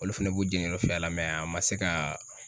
Olu fɛnɛ b'u jɛniyɔrɔ fin a la a ma se ka